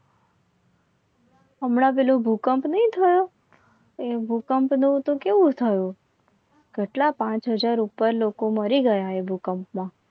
હમણાં પહેલો ભૂકંપ ની થયો એ ભૂકંપ નહિ તો કેવું થયો? કેટલા પાંચ હજાર પર લોકો મરી ગયા એ ભૂકંપમાં